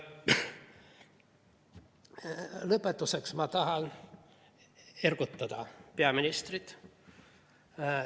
Lõpetuseks tahan ergutada peaministrit.